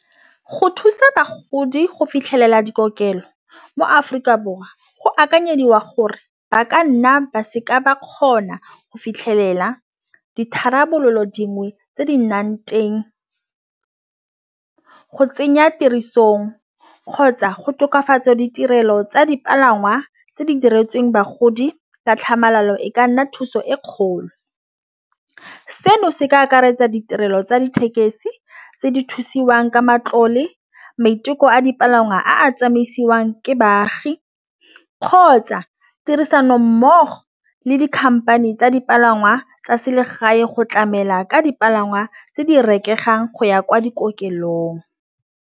Go thusa bagodi go fitlhelela dikokelo mo-Aforika Borwa go akanyediwa gore ba ka nna ba seka ba kgona go fitlhelela ditharabololo dingwe tse di nang teng go tsenya tirisong kgotsa go tokafatsa ditirelo tsa dipalangwa tse di diretsweng bagodi ka tlhamalalo e ka nna thuso e kgolo. Seno se ka akaretsa ditirelo tsa dithekesi tse di thusiwang ka matlole maiteko a dipalangwa a a tsamaisiwang ke baagi, kgotsa tirisano mmogo le dikhamphane tsa dipalangwa tsa selegae go tlamela ka dipalangwa tse di reketlang go ya kwa .